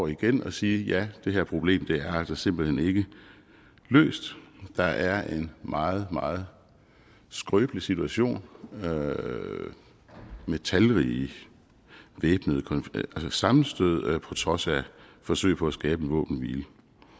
igen og sige ja det her problem er altså simpelt hen ikke løst der er en meget meget skrøbelig situation med talrige sammenstød på trods af forsøg på at skabe en våbenhvile